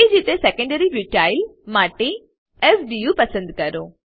તેજ રીતે secondary butyl માટે s બીયુ પસંદ કરો